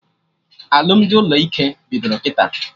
Alụmdi ụlọ ike bidoro kịta